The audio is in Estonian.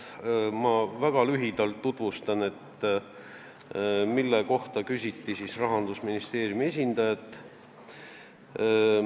Tutvustan väga lühidalt, mille kohta Rahandusministeeriumi esindajalt küsiti.